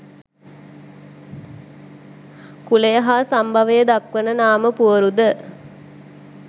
කුලය හා සම්භවය දක්වන නාම පුවරුද